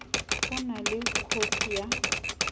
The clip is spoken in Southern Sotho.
o na le khopi ya